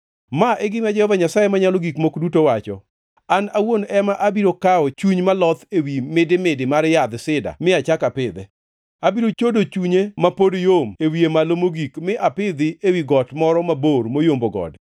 “ ‘Ma e gima Jehova Nyasaye Manyalo Gik Moko Duto wacho: An awuon ema abiro kawo chuny maloth ewi midimidi mar yadh sida mi achak apidhe. Abiro chodo chunye ma pod yom e wiye malo mogik mi apidhi ewi got moro mabor moyombo gode.